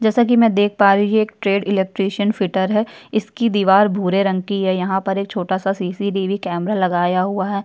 जैसाकि मै देख पा रही हूँ की यह एक ट्रेड इलेक्ट्रीशियन फीटर है इसकी दिवार भूरे रंग की है। यहाँ पर एक छोटा-सा एक सी_सी_टी_वी कैमरा लगाया हुआ है।